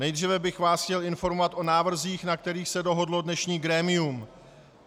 Nejdříve bych vás chtěl informovat o návrzích, na kterých se dohodlo dnešní grémium.